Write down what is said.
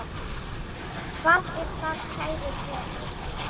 Hvað er það, kæru perur?